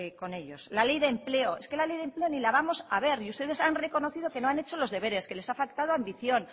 con ellos la ley de empleo es que la ley de empleo ni la vamos a ver y ustedes han reconocido que no han hecho los deberes que les ha faltado ambición